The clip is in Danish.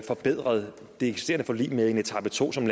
forbedret det eksisterende forlig med en etape to som